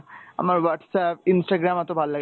আমার Whatsapp, Instagram এত ভাল লাগেনা,